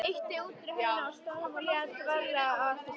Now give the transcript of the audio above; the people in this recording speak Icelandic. Ýtti útidyrahurðinni frá stöfum og lét varlega á eftir sér.